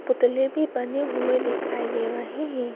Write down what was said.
पुतले भी बने हुए दिखाई दे रहे है।